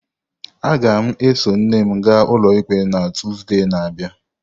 Aga m eso nne m gaa ụlọikpe na Tuzdee na-abịa.